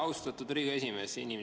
Austatud Riigikogu esimees!